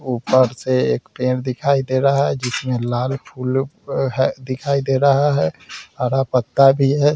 ऊपर से एक पेड़ दिखाई दे रहा है जिसमें लाल फूलो है दिखाई दे रहा है हरा पत्ता भी है ।